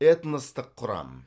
этностық құрам